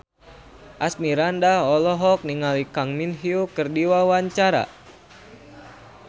Asmirandah olohok ningali Kang Min Hyuk keur diwawancara